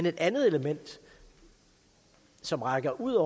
et andet element som rækker ud